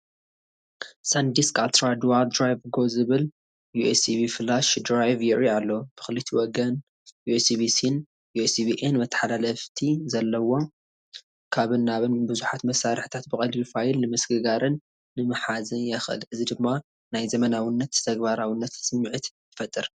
ሳንዲስክ "Ultra Dual Drive Go" ዝብል ዩኤስቢ ፍላሽ ድራይቭ የርኢ ኣሎ። ብኽልቲኡ ወገን USB-Cን USB-Aን መተሓላለፍቲ ስለዘለዎ፡ ካብን ናብን ብዙሓት መሳርሒታት ብቐሊሉ ፋይል ንምስግጋርን ንምሓዝን የኽእል። እዚ ድማ ናይ ዘመናዊነትን ተግባራውነትን ስምዒት ይፈጥር።